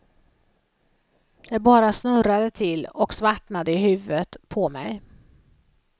Det bara snurrade till och svartnade i huvudet på mig.